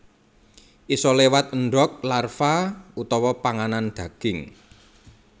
Isa léwat endog larva utawa panganan daging